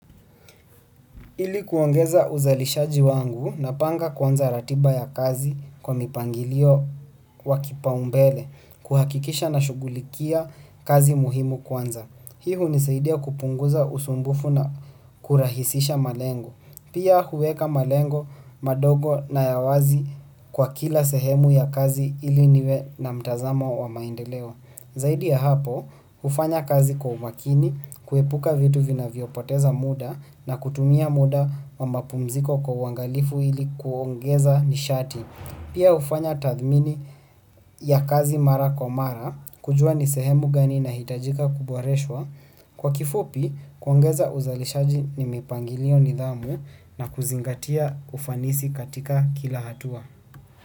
Ili kuongeza uzalishaji wangu napanga kuanza ratiba ya kazi kwa mpangilio wa kipaumbele kuhakikisha nashughulikia kazi muhimu kwanza. Hiu hunisaidia kupunguza usumbufu na kurahisisha malengo. Pia huweka malengo madogo na ya wazi kwa kila sehemu ya kazi ili niwe na mtazamo wa maendeleo. Zaidi ya hapo, hufanya kazi kwa umakini, kuepuka vitu vinavyopoteza muda na kutumia muda wa mapumziko kwa uangalifu ili kuongeza nishati. Pia hufanya tathmini ya kazi mara kwa mara, kujua nisehemu gani ina hitajika ku boreshwa. Kwa kifupi, kuongeza uzalishaji ni mpangilio, nidhamu na kuzingatia ufanisi katika kila hatua.